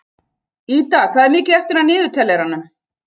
Ida, hvað er mikið eftir af niðurteljaranum?